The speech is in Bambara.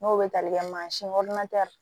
N'o bɛ tali kɛ mansin